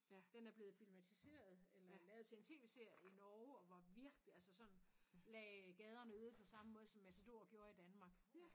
Den er blevet filmatiseret eller lavet til en tv-serie i Norge og var virkelig altså sådan lagde gaderne øde på samme måde som matador gjorde i Danmark